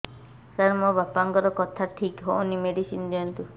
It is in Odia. ସାର ମୋର ବାପାଙ୍କର କଥା ଠିକ ହଉନି ମେଡିସିନ ଦିଅନ୍ତୁ